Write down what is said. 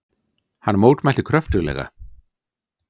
Hann mótmælti kröftuglega.